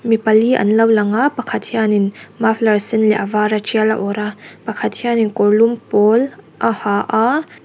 mi pali an lo lang a pakhat hianin maflar sen leh a vara tial a awrh a pakhat hianin kawrlum pawl a ha a --